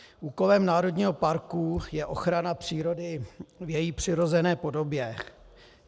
Úkolem národního parku je ochrana přírody v její přirozené podobě.